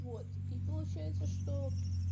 вот и получается что